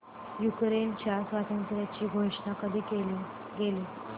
युक्रेनच्या स्वातंत्र्याची घोषणा कधी केली गेली